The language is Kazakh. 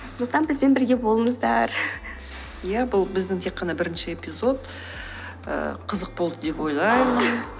сондықтан бізбен бірге болыңыздар иә ол біздің тек ғана бірінші эпизод ііі қызық болды деп ойлаймын